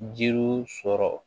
Jiriw sɔrɔ